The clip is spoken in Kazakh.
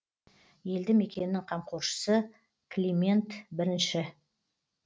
елді мекеннің қамқоршысы климент бірінші